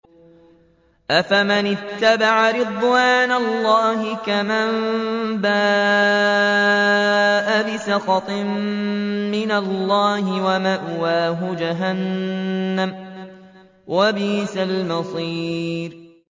أَفَمَنِ اتَّبَعَ رِضْوَانَ اللَّهِ كَمَن بَاءَ بِسَخَطٍ مِّنَ اللَّهِ وَمَأْوَاهُ جَهَنَّمُ ۚ وَبِئْسَ الْمَصِيرُ